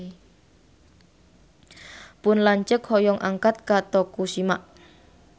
Pun lanceuk hoyong angkat ka Tokushima